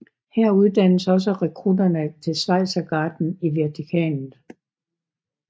Her uddannes også rekrutterne til Schweizergarden i Vatikanet